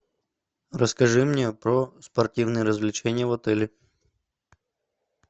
расскажи мне про спортивные развлечения в отеле